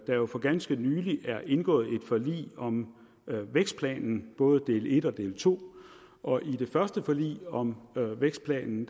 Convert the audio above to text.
jo for ganske nylig er indgået et forlig om vækstplanen både del en og del to og det første forlig om vækstplanen